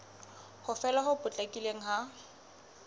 ho fela ho potlakileng ha